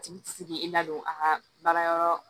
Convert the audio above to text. A tigi ti se k'i ladon a ka baara yɔrɔ